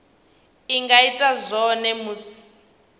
a nga ita zwone musi